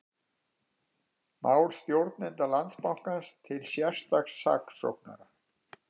Mál stjórnenda Landsbankans til sérstaks saksóknara